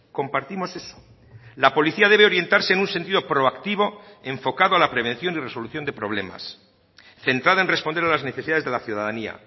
compartimos eso la policía debe orientarse en un sentido proactivo enfocado a la prevención y resolución de problemas centrada en responder a las necesidades de la ciudadanía